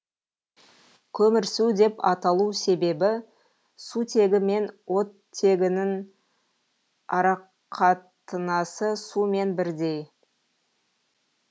көмірсу деп аталу себебі сутегі мен оттегінің арақатынасы сумен бірдей